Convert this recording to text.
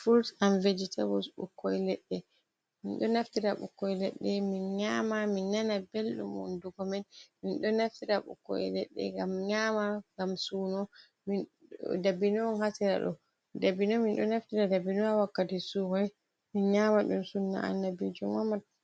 furut an vejitabuls ɓukkoi leɗɗe minɗo naftira ɓukkoi leɗɗe min nyama, min nana belɗum, hunduko men, min ɗo naftira ɓukkoi leɗɗe gam nyama ngam suno, dibino on ha siera ɗo dabino min ɗo naftira dabino wakkati suumai, min nyama ɗum, sunna annabijo